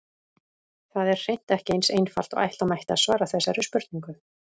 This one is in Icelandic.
Það er hreint ekki eins einfalt og ætla mætti að svara þessari spurningu.